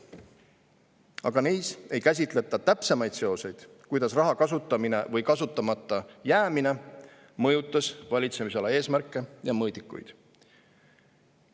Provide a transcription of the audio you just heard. Aga neis ei käsitleta täpsemaid seoseid, kuidas raha kasutamine või kasutamata jäämine mõjutas valitsemisala eesmärke ja mõõdikuid.